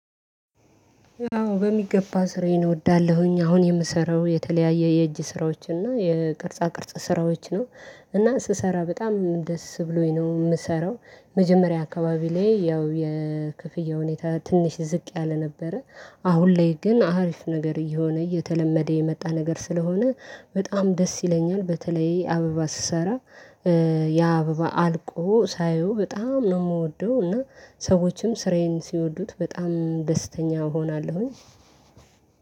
አዎ በሚገባ ስራዬን እወዳለሁኝ። አሁን የምሰራው የተለያየ የእጅ ስራዎች እና የቅርጻ ቅርጽ ስራዎች ነው። እና ስሰራ በጣም ደስ ብሎኝ ነው የምሰራው። መጀመሪያ አካባቢ ላይ ያው የክፍያ ሁኔታ ትንሽ ዝቅ ያለ ነበረ። አሁን ላይ ግን አሪፍ ነገር እየሆነ እየተለመደ የመጣ ነገር ስለሆነ በጣም ደስ ይለኛል። በተለይ አበባ ስሰራ ያ አበባ አልቆ ሳየው በጣም ነው የምወደው። እና ሰዎችም ስራዬን ሲወዱት በጣም ደስተኛ እሆናለሁኝ።